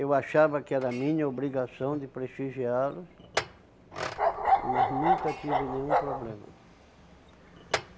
Eu achava que era minha obrigação de prestigiá-los, mas nunca tive nenhum problema.